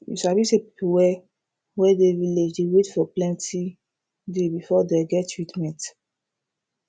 you sabi say people wey wey dey village dey wait for plenti day before dey get treatment